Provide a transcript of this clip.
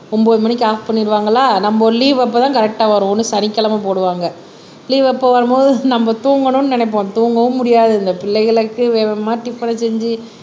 ஒன்பது மணிக்கு ஆப் பண்ணிருவாங்களா நம்ம லீவு அப்பதான் கரெட்டா வருவோம்ன்னு சனிக்கிழமை போடுவாங்க லீவு எப்ப வரும்போது நம்ம தூங்கணும்ன்னு நினைப்போம் தூங்கவும் முடியாது இந்த பிள்ளைகளுக்கு வேக வேக டிபனா செஞ்சி